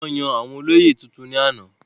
wọ́n yan àwọn olóyè tuntun náà ní àná